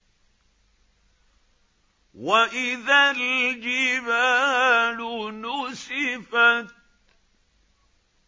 وَإِذَا الْجِبَالُ نُسِفَتْ